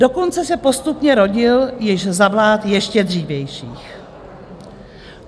Dokonce se postupně rodil již za vlád ještě dřívějších.